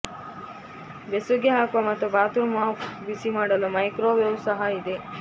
ಬೆಸುಗೆ ಹಾಕುವ ಮತ್ತು ಬಾತ್ರೂಮ್ ಅಪ್ ಬಿಸಿಮಾಡಲು ಮೈಕ್ರೋವೇವ್ ಸಹ ಇದೆ